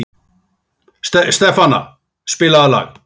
Stefana, spilaðu lag.